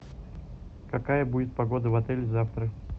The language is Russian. какая будет погода в отеле завтра